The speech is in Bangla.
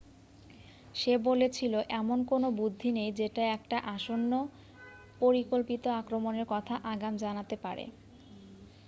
"সে বলেছিল "এমন কোনো বুদ্ধি নেই যেটা একটা আসন্ন পরিকল্পিত আক্রমণের কথা আগাম জানাতে পারে।""